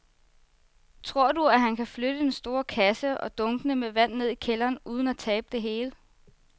Tror du, at han kan flytte den store kasse og dunkene med vand ned i kælderen uden at tabe det hele?